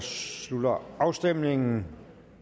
slutter afstemningen